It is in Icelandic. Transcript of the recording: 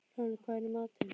Lóni, hvað er í matinn?